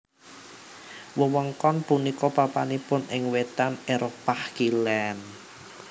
Wewengkon punika papanipun ing wètan Éropah Kilèn